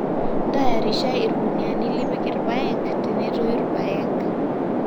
ntayarisha irkuniyiani lipik irpaek tenetoyu irpaek